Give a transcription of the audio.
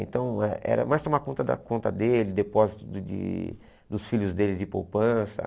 Então eh era mais tomar conta da conta dele, depósito de dos filhos dele de poupança.